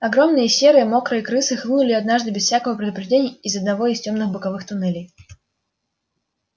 огромные серые мокрые крысы хлынули однажды без всякого предупреждения из одного из тёмных боковых туннелей